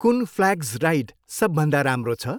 कुन flags ride सबभन्दा राम्रो छ?